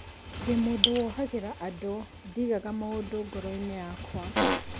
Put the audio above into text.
Ndĩ mũndũ wohagĩra andũ, ndiigaga maũndũ ngoro-inĩ yakwa